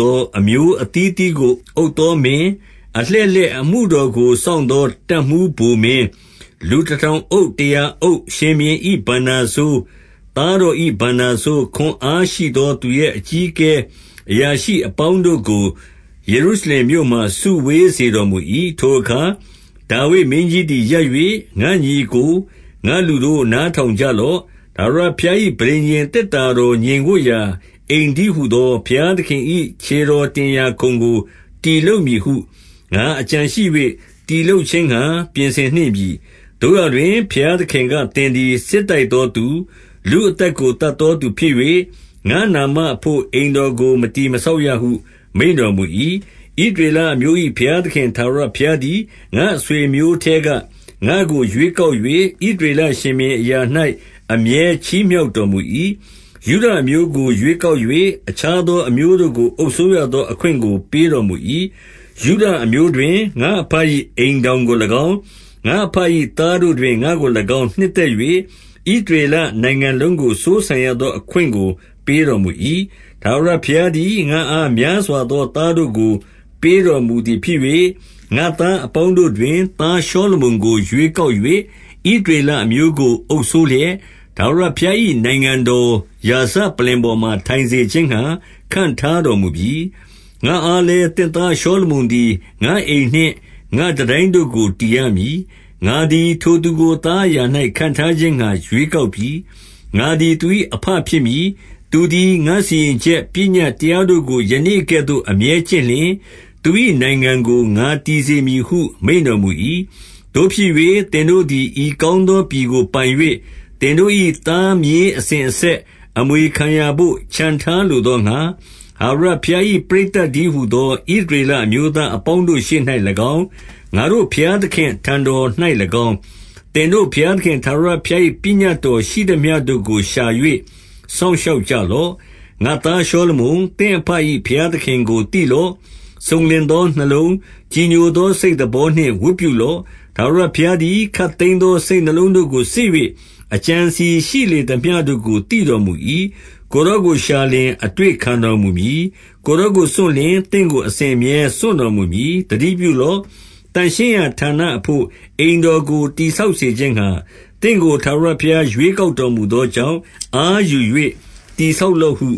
သော အမျိုးအသီးအသီးကို အုပ်သောမင်း၊ အလှည့် လှည့်အမှုတော်ကို စောင့်သော တပ်မှူးဗိုလ်မင်း၊ လူ တထောင်အုပ်၊ တရာအုပ်၊ ရှင်ဘုရင်၏ဘဏ္ဍာစိုး၊ သား တော်၏ဘဏ္ဍာစိုး၊ ခွန်အားရှိသောသူရဲ အကြီးအကဲ အရာရှိ အပေါင်းတို့ကို ယေရုရှလင်မြို့မှာ စုဝေးစေတော် မူ၏။ 2 ထိုအခါဒါဝိဒ်မင်းကြီးသည်ရပ်၍၊ ငါ့ညီအစ်ကို၊ ငါ့လူတို့ နားထောင်ကြလော့။ ထာဝရဘုရား၏ ပဋိညာဉ် သေတ္တာတော်ငြိမ်ဝပ်ရာ အိမ်တည်းဟူသော ဘုရားသခင် ၏ ခြေတော်တင်ရာခုံကို တည်လုပ်မည်ဟု ငါအကြံရှိ၍ တည်လုပ်ခြင်းငှါ ပြင်ဆင်နှင့်ပြီ။ 3 သို့ရာတွင် ဘုရားသခင်က သင်သည် စစ်တိုက် သောသူ၊ လူအသက်ကို သတ်သောသူဖြစ်၍၊ ငါ့နာမ အဘို့အိမ်တော်ကို မတည်မဆောက်ရဟု မိန့်တော်မူ၏။ 4 ဣသရေလအမျိုး၏ ဘုရားသခင်ထာဝရဘုရား သည် ငါ့အဆွေအမျိုးများထဲက ငါ့ကိုရွေးကောက်၍ ဣသရေလရှင်ဘုရင်အရာ၌ အမြဲချီးမြှောက်တော်မူ၏။ ယုဒအမျိုးကို ရွေးကောက်၍ အခြားသော အမျိုး တို့ကို အုပ်စိုးရသောအခွင့်ကို ပေးတော်မူ၏။ ယုဒအမျိုးတွင် ငါ့အဘ၏ အိမ်ထောင်ကို၎င်း၊ ငါ့အဘ၏သားတို့တွင် ငါ့ကို၎င်း၊ နှစ်သက်၍ဣသရေ လနိုင်ငံလုံးကို စိုးစံရသော အခွင့်ကို ပေးတော်မူ၏။ 5 ထာဝရဘုရားသည် ငါ့အားများစွာသော သား တို့ကို ပေးတော်မူသည်ဖြစ်၍၊ ငါ့သားအပေါင်းတို့တွင် သားရှောလမုန်ကို ရွေးကောက်၍ ဣသရေလအမျိုးကို အုပ်စိုးလျက်၊ ထာဝရဘုရား၏ နိုင်ငံတော်ရာဇပလ္လင် ပေါ်မှာထိုင်စေခြင်းငှါ ခန့်ထားတော်မူပြီ။ 6 ငါ့အားလည်း သင့်သားရှောလမုန်သည် ငါ့အိမ် နှင့်ငါ့တန်တိုင်းတို့ကို တည်ရမည်။ ငါသည်ထိုသူကို သား အရာ၌ခန့်ထားခြင်းငှါ ရွေးကောက်ပြီ။ ငါသည် သူ၏ အဘဖြစ်မည်။ 7 သူသည် ငါစီရင်ချက်ပညတ် တရားတို့ကို ယနေ့ ကဲ့သို့ အမြဲကျင့်လျှင် သူ၏နိုင်ငံကို ငါတည်စေမည်ဟု မိန့်တော်မူ၏။ 8 သို့ဖြစ်၍ သင်တို့သည် ဤကောင်းသော ပြည်ကို ပိုင်၍ သင်တို့၏ သားမြေးအစဉ်အဆက် အမွေခံရာဘို့ ချဉ်ထားလိုသောငှါ၊ ထာဝရဘုရား၏ပရိသတ်တည်း ဟူသော ဣသရေလအမျိုးသားအပေါင်းတို့ရှေ့၌၎င်း၊ ငါတို့ဘုရားသခင့်အထံတော်၌၎င်း၊ သင်တို့ဘုရားသခင် ထာဝရဘုရား၏ ပညတ်တော်ရှိသမျှတို့ကိုရှာ၍ စောင့် ရှောက်ကြလော့။ 9 ငါ့သားရှောလမုန်၊ သင့်အဘ၏ဘုရားသခင်ကို သိလော့။ စုံလင်သောနှလုံး၊ ကြည်ညိုသော စိတ်သဘော နှင့် ဝတ်ပြုလော့။ ထာဝရဘုရားသည် ခပ်သိမ်းသော စိတ်နှလုံးတို့ကို စစ်၍အကြံအစည်ရှိလေသမျှတို့ကို သိတော်မူ၏။ ကိုယ်တော်ကို ရှာလျှင်အတွေ့ခံတော်မူမည်။ ကိုယ်တော်ကိုစွန့်လျှင် သင့်ကို အစဉ်အမြဲ စွန့်တော်မူမည်။ 10 သတိပြုလော့။ သန့်ရှင်းရာဌာနအဘို့ အိမ် တော်ကို တည်ဆောက်စေခြင်းငှါ သင့်ကို ထာဝရဘုရား ရွေးကောက်တော်မူသောကြောင့်၊ အားယူ၍ တည် ဆောက်လော့ဟု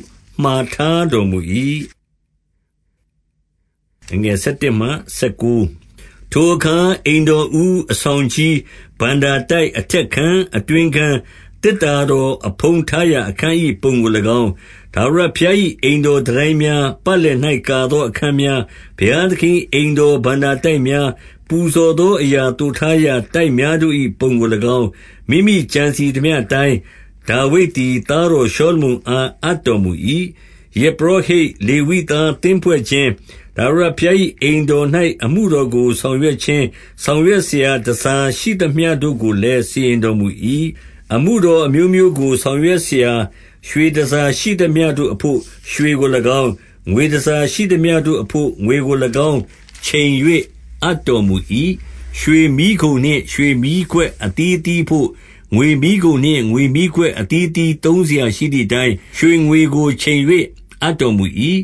မှာထားတော်မူ၏။ 11 ထိုအခါအိမ်တော်ဦး၊ အဆောင်ကြီး၊ ဘဏ္ဍာ တိုက်၊ အထက်ခန်း၊ အတွင်းခန်း၊ သေတ္တာတော်အဖုံး ထားရာ အခန်း၏ ပုံကို၎င်း၊ 12 ထာဝရဘုရား၏အိမ်တော်တန်တိုင်းများ၊ ပတ် လည်၌ ကာသောအခန်းများ၊ ဘုရားသခင်၏ အိမ်တော် ဘဏ္ဍာတိုက်များ၊ ပူဇော်သောအရာသိုထားရာ တိုက်များ တို့၏ပုံကို၎င်း၊ မိမိကြံစည်သမျှအတိုင်း၊ ဒါဝိဒ်သည် သားတောရှောလမုန်အား အပ်တော်မူ၏။ 13 ယဇ်ပုရောဟိတ်၊ လေဝိသားသင်းဖွဲ့ခြင်း၊ ထာဝရဘုရား၏အိမ်တော်၌ အမှုတော်ကို ဆောင်ရွက် ခြင်း၊ ဆောင်ရွက်စရာ တန်ဆာရှိသမျှတို့ကိုလည်း စီရင် တော်မူ၏။ 14 အမှုတော်အမျိုးမျိုးကို ဆောင်ရွက်စရာ ရွှေ တန်ဆာရှိသမျှတို့အဘို့ ရွှေကို၎င်း၊ ငွေတန်ဆာရှိသမျှတို့ အဘို့ ငွေကို၎င်းချိန်၍ အပ်တော်မူ၏။ 15 ရွှေမီးခုံနှင့်ရွှေမီးခွက်အသီးအသီးအဘို့၊ ငွေမီးခုံ နှင့် ငွေမီးခွက်အသီးအသီး သုံးစရာရှိသည်အတိုင်း ရွှေငွေကို ချိန်၍ အပ်တော်မူ၏။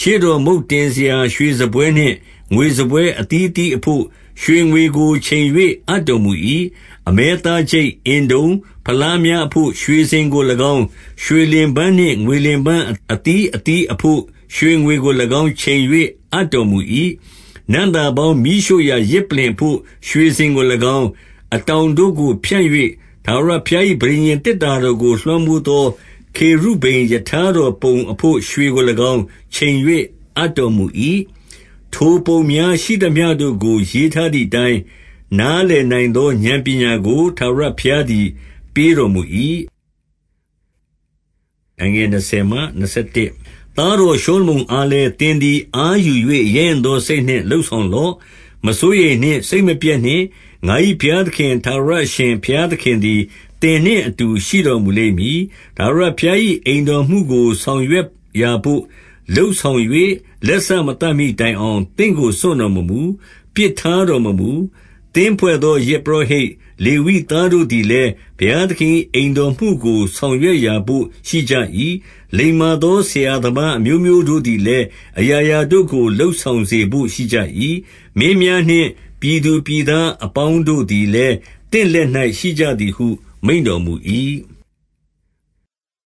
16 ရှေ့တော်မုန့်တင်စရာရွှေစားပွဲနှင့် ငွေစားပွဲ အသီးအသီးအဘို့ ရွှေငွေကိုချိန်၍ အပ်တော်မူ၏။ 17 အမဲသားချိတ်၊ အင်တုံ၊ ဖလားများအဘို့ ရွှေစင် ကို၎င်း၊ ရွှေလင်ပန်းနှင့် ငွေလင်ပန်းအသီးအသီးအဘို့ ရွှေငွေကို၎င်း၊ ချိန်၍အပ်တော်မူ၏။ 18 နံ့သာပေါင်းမီးရှို့ရာ ယဇ်ပလ္လင်အဘို့ ရွှေစင်ကို ၎င်း၊ အတောင်တို့ကို ဖြန့်၍ ထာဝရဘုရား၏ ပဋိညာဉ် သေတ္တာတော်ကို လွှမ်းမိုးသော ခေရုဗိမ်ရထားတော်ပုံ အဘို့ရွှေကို၎င်း၊ ချိန်၍အပ်တော်မူ၏။ 19 ထိုပုံများရှိသမျှတို့ကို ရေးထားသည်အတိုင်း၊ နားလည်နိုင်သော ဥာဏ်ပညာကို ထာဝရဘုရားသည် ပေးတော်မူ၏။ 20 သားတော်ရှောလမုန်အားလည်း၊ သင်သည် အားယူ၍ ရဲရင့်သော စိတ်နှင့်လုပ်ဆောင်လော့။ မစိုးရိမ် နှင့်။ စိတ်မပျက်နှင့်။ ငါ၏ဘုရားသခင် ထာဝရအရှင် ဘုရားသခင်သည် သင်နှင့်အတူရှိတော်မူလိမ့်မည်။ ထာဝရဘုရား၏အိမ်တော်မှုကို ဆောင်ရွက်ရာဘို့ လုပ် ဆောင်၍ လက်စမသတ်မှီတိုင်အောင် သင့်ကို စွန့်တော် မမူ။ ပစ်ထားတော်မမူ။ 21 သင်းဖွဲ့သောယဇ်ပုရောဟိတ်၊ လေဝိသားတို့ သည်လည်း ဘုရားသခင်၏အိမ်တော်မှုကို ဆောင်ရွက် ရာဘို့ရှိကြ၏။ လိမ္မာသော ဆရာသမားအမျိုးမျိုးတို့ သည်လည်း အရာရာတို့ကို လုပ်ဆောင်စေဘို့ရှိကြ၏။ မင်းများနှင့် ပြည်သူပြည်သားများအပေါင်းတို့သည်လည်း သင့်လက်၌ရှိကြသည်ဟု မိန့်တော်မူ၏။